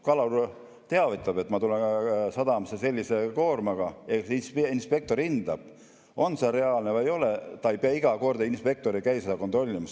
Kalur teavitab, et ta tuleb sadamasse sellise koormaga, inspektor hindab, on see reaalne või ei ole, iga kord inspektor ei käi seda kontrollimas.